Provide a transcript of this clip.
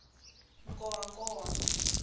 nkowankowa